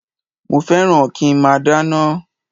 Mo fẹ́ràn kí nmá dáná